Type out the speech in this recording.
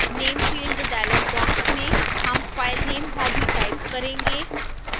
name field dialog box में name filename hobby type करेंगे